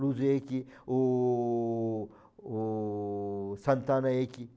Luz, o o santana.